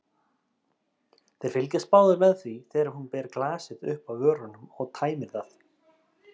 Þeir fylgjast báðir með því þegar hún ber glasið upp að vörunum og tæmir það.